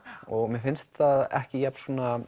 og mér finnst það ekki jafn